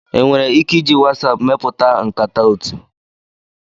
Enwere ike iji WhatsApp mepụta nkata otu.